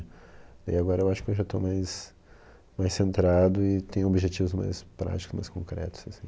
E agora eu acho que eu já estou mais mais centrado e tenho objetivos mais práticos, mais concretos, assim.